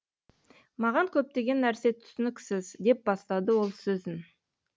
маған көптеген нәрсе түсініксіз деп бастады ол сөзін